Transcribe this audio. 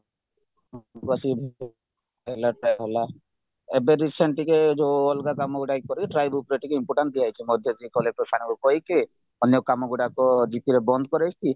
ହେଲା try ହେଲା ଏବେ recent ଟିକେ ଯୋଉ ଅଲଗା କାମ ଇଏ କରେ try bookରେ ଟିକେ important ଦିଆହେଇଛି ମଝିରେ collector sirଙ୍କୁ କହିକି ଅନ୍ୟ କାମ ଗୁଡାକ gp ରେ ବନ୍ଦ କରେଇଛି